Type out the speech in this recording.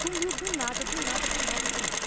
Sumiu do nada, do nada, do nada, do nada.